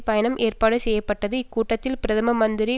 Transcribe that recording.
பயணம் ஏற்பாடு செய்யபப்பட்டது இக்கூட்டத்தில் பிரதம மந்திரி